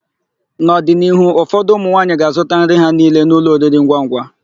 N'ọdịnihu, ụfọdụ ụmụnwaanyị ga azụta nri ha niile n'ụlọ oriringwangwa.